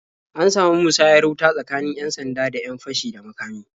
An samu musayar wuta tsakanin 'yan-sanda da 'yan fashi da makami.